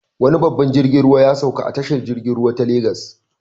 Wani babban jirgin ruwa ya sauka a tashar jiragen ruwa ta Legas.